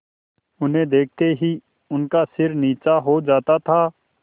उन्हें देखते ही उनका सिर नीचा हो जाता था